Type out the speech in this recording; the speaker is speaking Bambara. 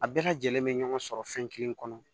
A bɛɛ lajɛlen be ɲɔgɔn sɔrɔ fɛn kelen kɔnɔ